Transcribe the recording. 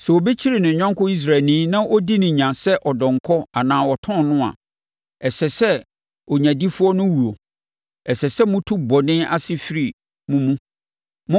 Sɛ obi kyere ne yɔnko Israelni na ɔdi no nya sɛ ɔdɔnkɔ anaa ɔtɔn no a, ɛsɛ sɛ onyadifoɔ no wuo. Ɛsɛ sɛ motu bɔne ase firi mo mu.